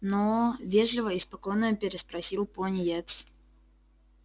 но вежливо и спокойно переспросил пониетс